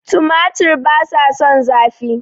Tomatoes dont like heat